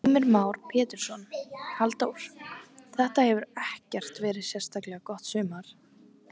Heimir Már Pétursson: Halldór, þetta hefur ekkert verið sérstaklega gott sumar?